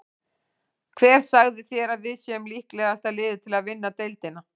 Hver sagði þér að við séum líklegasta liðið til að vinna deildina?